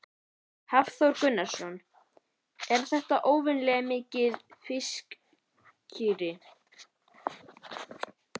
Hafþór Gunnarsson: Er þetta óvenjulega mikið fiskirí?